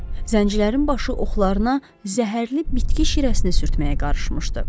Zəncirlərin başı oxlarına zəhərli bitki şirəsini sürtməyə qarışmışdı.